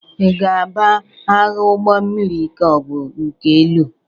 Ị ga-aba agha ụgbọ mmiri ka ọ bụ nke elu?